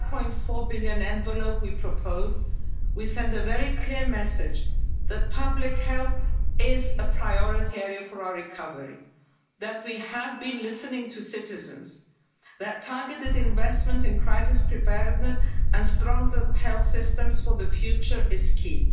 9.4 billion envelope we proposed, we send a very clear message that public health is a priority area for our recovery, that we have been listening to citizens, that targeted investment in crisis preparedness and stronger health systems for the future is key.